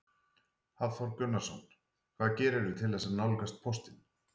Hafþór Gunnarsson: Hvað gerirðu til þess að nálgast póstinn?